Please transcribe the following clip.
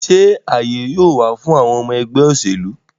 Sé àyè yóò wà fún àwọn ọmọ ẹgbẹ́ òṣèlú?